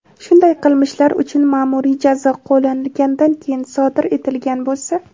shunday qilmishlar uchun maʼmuriy jazo qo‘llanilganidan keyin sodir etilgan bo‘lsa:.